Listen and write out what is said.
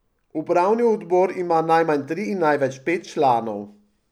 Upravni odbor ima najmanj tri in največ pet članov.